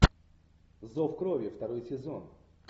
зов крови второй сезон